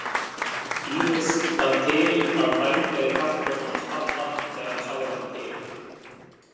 Íris það til að hrækja í kaffibollann hans pabba þegar hann sá ekki til.